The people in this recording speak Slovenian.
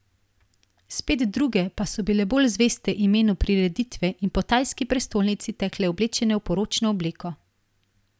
Spet druge pa so bile bolj zveste imenu prireditve in po tajski prestolnici tekle oblečene v poročno obleko.